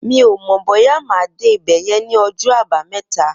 Mi ó mọ bóyà má dé ibẹ̀yẹ̀n ni ọjọ àbàámẹ̀tá